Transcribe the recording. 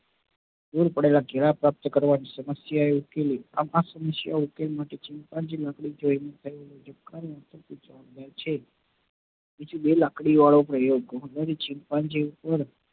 દુર પડેલા કેળા પ્રાપ્ત કરવા સમસ્યા ઉકેલી આમ આ સમસ્યા ઉકેલ chimpanzee માટે કોઈ કરી સકે છે તે લાકડી વાળો પ્રયોગ